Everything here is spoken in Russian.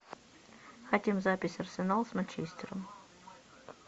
хотим запись арсенал с манчестером